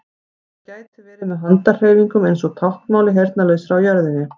Það gæti verið með handahreyfingum eins og táknmáli heyrnarlausra á jörðinni.